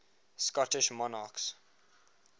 scottish monarchs